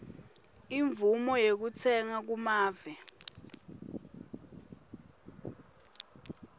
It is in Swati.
imvumo yekutsenga kumave